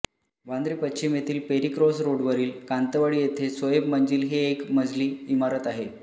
वांद्रे पश्चिम येथील Perry cross रोडवरील कांतवाडी येथे सोहेब मंजिल ही एक मजली इमारत आहे